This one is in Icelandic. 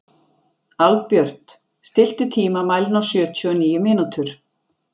Albjört, stilltu tímamælinn á sjötíu og níu mínútur.